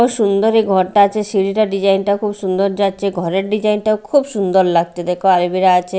কত সুন্দর এ ঘরটা আছে সিড়িটা ডিজাইন -টা খুব সুন্দর যাচ্ছে ঘরের ডিজাইন -টা খুব সুন্দর লাগছে দেখ আছে।